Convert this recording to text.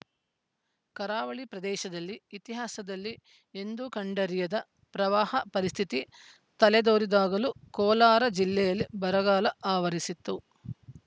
ಕರಾವಳಿ ಪ್ರದೇಶದಲ್ಲಿ ಇತಿಹಾಸದಲ್ಲಿ ಎಂದೂ ಕಂಡರಿಯದ ಪ್ರವಾಹ ಪರಿಸ್ಥಿತಿ ತಲೆದೋರಿದಾಗಲೂ ಕೋಲಾರ ಜಿಲ್ಲೆಯಲ್ಲಿ ಬರಗಾಲ ಆವರಿಸಿತ್ತು